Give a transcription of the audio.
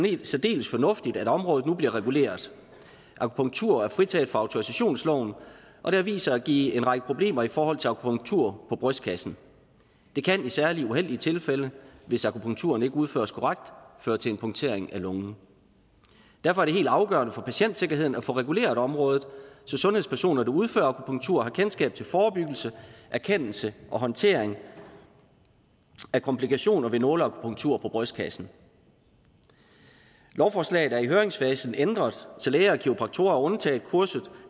særdeles fornuftigt at området nu bliver reguleret akupunktur er fritaget fra autorisationsloven og det har vist sig at give en række problemer i forhold til akupunktur på brystkassen det kan i særlig uheldige tilfælde hvis akupunkturen ikke udføres korrekt føre til en punktering af lungen derfor er det helt afgørende for patientsikkerheden at få reguleret området så sundhedspersoner der udfører akupunktur har kendskab til forebyggelse erkendelse og håndtering af komplikationer ved nåleakupunktur på brystkassen lovforslaget er i høringsfasen ændret så læger og kiropraktorer er undtaget kurset